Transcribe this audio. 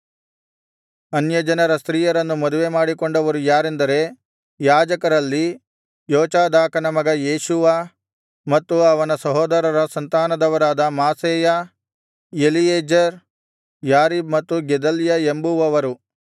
ಅನ್ಯಜನರ ಸ್ತ್ರೀಯರನ್ನು ಮದುವೆಮಾಡಿಕೊಂಡವರು ಯಾರೆಂದರೆ ಯಾಜಕರಲ್ಲಿ ಯೋಚಾದಾಕನ ಮಗ ಯೇಷೂವ ಮತ್ತು ಅವನ ಸಹೋದರರ ಸಂತಾನದವರಾದ ಮಾಸೇಯ ಎಲೀಯೆಜೆರ್ ಯಾರೀಬ್ ಮತ್ತು ಗೆದಲ್ಯ ಎಂಬುವವರು